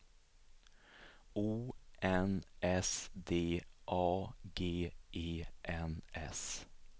O N S D A G E N S